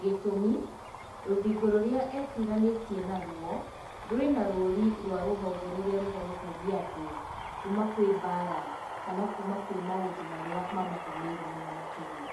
Gĩtũmi, rũthingo rũrĩa etiranĩtie narwo rwĩna rũri, rwa rũhonge rũrĩa rũhonokagia andũ, kuma kwĩ mbara kana kuma kwĩ maũndũ marĩa mamagũmĩire mũno makĩria.